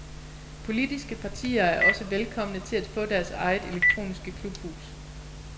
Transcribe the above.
Politiske partier er også velkomne til at få deres eget elektroniske klubhus.